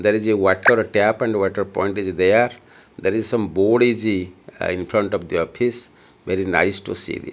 there is a water tap and water point is there there is some board is the uh infront of the office very nice to see the --